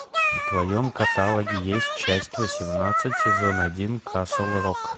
в твоем каталоге есть часть восемнадцать сезон один касл рок